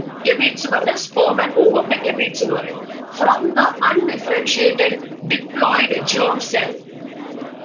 gametes പറഞ്ഞ sperm and ovum നെ gametes എന്ന് പറയും. from the un differentiated Deployed germ cell